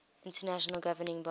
international governing body